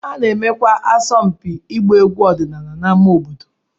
A na-emekwa asọmpi ịgba egwu ọdịnala n'ámá obodo.